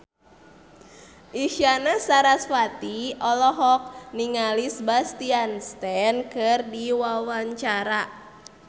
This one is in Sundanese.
Isyana Sarasvati olohok ningali Sebastian Stan keur diwawancara